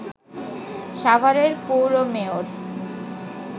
সাভারের পৌর মেয়র